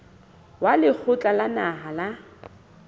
wa lekgotla la naha la